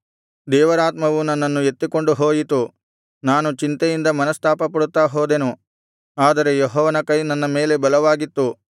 ದೇವರಾತ್ಮವು ನನ್ನನ್ನು ಎತ್ತಿಕೊಂಡು ಹೋಯಿತು ನಾನು ಚಿಂತೆಯಿಂದ ಮನಸ್ತಾಪಪಡುತ್ತಾ ಹೋದೆನು ಆದರೆ ಯೆಹೋವನ ಕೈ ನನ್ನ ಮೇಲೆ ಬಲವಾಗಿತ್ತು